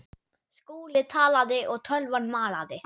Skúli talaði og tölvan malaði.